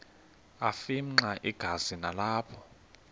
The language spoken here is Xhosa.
afimxa igazi nalapho